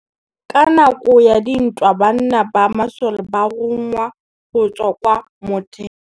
Ka nakô ya dintwa banna ba masole ba rongwa go tswa kwa mothêô.